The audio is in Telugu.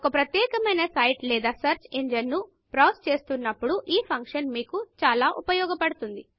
ఒక ప్రత్యేకమైన సైట్ లేదా సర్చ్ ఇంజిన్ నుండి బ్రౌజ్ చేస్తున్నపుడు ఈ ఫంక్షన్ మీకు చాలా ఉపయోగపడుతుంది